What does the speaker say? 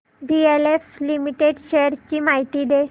DLF limited shares ची माहिती दे